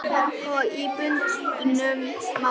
Og í bundnu máli